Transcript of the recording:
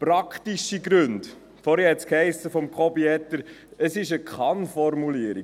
Praktische Gründe: Vorhin sagte Jakob Etter, es sei eine Kann-Formulierung.